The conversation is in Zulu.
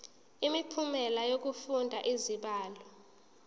imiphumela yokufunda izibalo